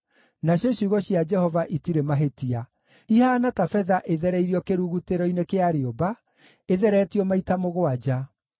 Nacio ciugo cia Jehova itirĩ mahĩtia, ihaana ta betha ĩthereirio kĩrugutĩro-inĩ kĩa rĩũmba, ĩtheretio maita mũgwanja.